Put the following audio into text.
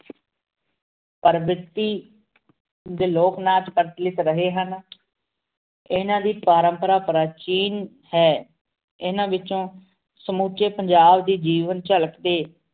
ਪੇਰ੍ਬਿਤੀ ਡੀ ਲੋਗ ਨਾਚ ਪ੍ਰਚਲਿਤ ਰਹੇ ਹਨ। ਏਨਾ ਦੀ ਪ੍ਰੰਪਰਾ ਪ੍ਰਾਚੀਨ ਹੈਂ। ਏਨਾ ਵਿੱਚੋ ਸਮੁਚੇ ਪੰਜਾਬ ਦੇ ਜੀਵਨ ਝਲਕ ਤੇ